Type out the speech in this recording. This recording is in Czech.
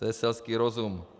To je selský rozum.